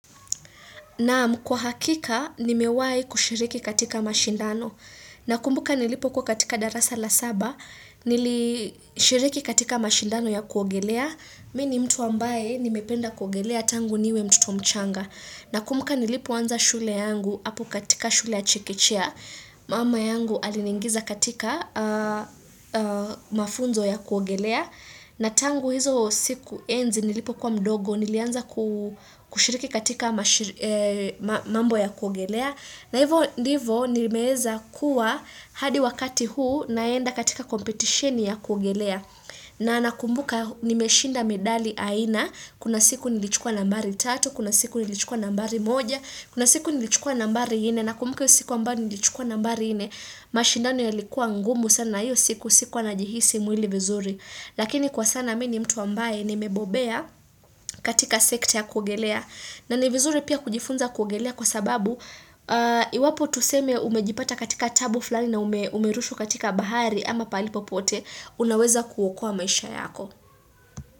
Naam kwa hakika, nimewahi kushiriki katika mashindano. Nakumbuka nilipo kuwa katika darasa la saba, nilishiriki katika mashindano ya kuogelea. Mi ni mtu ambae, nimependa kuogelea tangu niwe mtoto mchanga. Na kumbuka nilipo anza shule yangu, apu katika shule ya chikichia. Mama yangu aliningiza katika mafunzo ya kuogelea. Na tangu hizo siku enzi nilipo kwa mdogo, nilianza kushiriki katika mambo ya kugelea na hivyo ndivo nimeweza kuwa hadi wakati huu naenda katika competition ya kuogelea na nakumbuka nimeshinda medali aina, kuna siku nilichukua nambari 3, kuna siku nilichukua nambari 1 kuna siku nilichukua nambari 4, na kumbuka hiyo siku ambayo nilichukua nambari 4 mashindano yalikuwa ngumu sana hiyo siku sikuwa najihisi mwili vizuri Lakini kwa sana mimi ni mtu ambae ni mebobea katika sekta ya kuogelea na nivizuri pia kujifunza kuogelea kwa sababu iwapo tuseme umejipata katika tabu fulali na umerushwa katika bahari ama pahali popote unaweza kuokoa maisha yako.